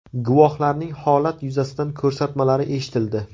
Guvohlarning holat yuzasidan ko‘rsatmalari eshitildi.